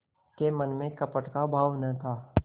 के मन में कपट का भाव न था